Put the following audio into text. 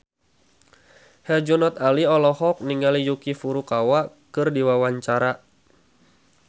Herjunot Ali olohok ningali Yuki Furukawa keur diwawancara